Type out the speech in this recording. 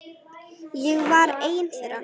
Ég var ein þeirra.